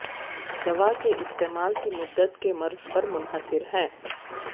دوا کے استعمال کی مدت کے مرض پر منحصر ہے